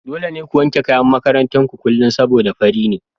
Dole ne ku wanke kayan makarantar ku kullum saboda fari ne.